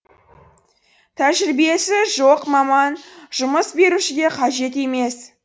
тәжірибесі жоқ маман жұмыс берушіге қажет емес